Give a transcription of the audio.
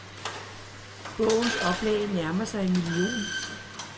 Bogens oplag nærmer sig en million.